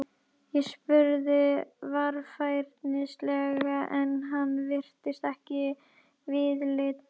Ég spurði varfærnislega en hann virti mig ekki viðlits.